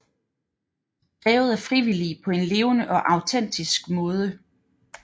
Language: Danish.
Drevet af frivillige på en levende og autentisk måde